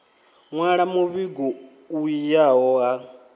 nwala muvhigo u yaho ha